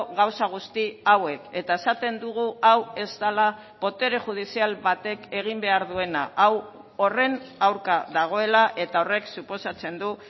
gauza guzti hauek eta esaten dugu hau ez dela botere judizial batek egin behar duena hau horren aurka dagoela eta horrek suposatzen du